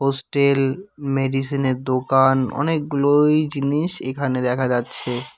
Still মেডিসিনের দোকান অনেকগুলোই জিনিস এখানে দেখা যাচ্ছে।